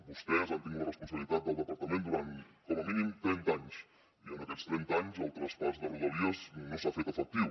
vostès han tingut la responsabilitat del departament durant com a mínim trenta anys i en aquests trenta anys el traspàs de rodalies no s’ha fet efectiu